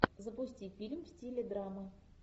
запусти фильм в стиле драма